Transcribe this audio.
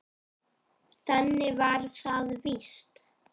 Þannig var það víst.